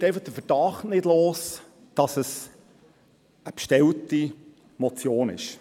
Ich werde einfach den Verdacht nicht los, dass dies eine bestellte Motion ist.